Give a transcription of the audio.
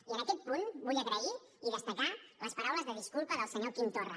i en aquest punt vull agrair i destacar les paraules de disculpa del senyor quim torra